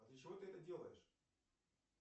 а для чего ты это делаешь